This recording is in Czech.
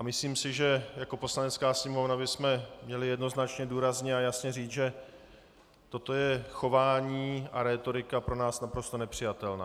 A myslím si, že jako Poslanecká sněmovna bychom měli jednoznačně důrazně a jasně říct, že toto je chování a rétorika pro nás naprosto nepřijatelná.